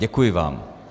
Děkuji vám.